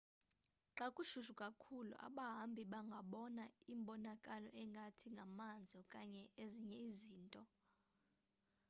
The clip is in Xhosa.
xa kushushu kakhulu abahambi bangabona imbonakalo engathi ngamanzi okanye ezinye izinto